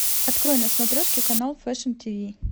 открой на смотрешке канал фэшн тиви